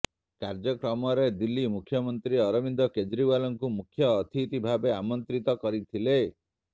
କାର୍ଯ୍ୟକ୍ରମରେ ଦିଲ୍ଲୀ ମୁଖ୍ୟମନ୍ତ୍ରୀ ଅରବିନ୍ଦ କେଜରିୱାଲଙ୍କୁ ମୁଖ୍ୟଅତିଥି ଭାବେ ଆମନ୍ତ୍ରିତ କରିଥିଲେ